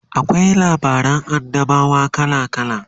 akwai labaran annabawa kala kala